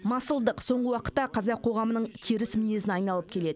масылдық соңғы уақытта қазақ қоғамының теріс мінезіне айналып келеді